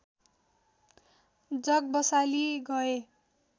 जग बसाली गए